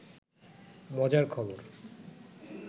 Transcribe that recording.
মজার খবর